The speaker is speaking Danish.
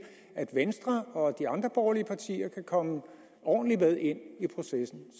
at venstre og de andre borgerlige partier kan komme ordentligt med ind i processen